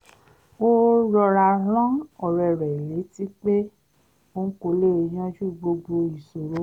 ó rọra rán ọ̀rẹ́ rẹ̀ létí pé òun kò lè yanjú gbogbo ìṣòro